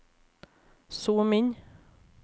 zoom inn